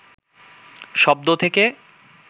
শব্দ থেকে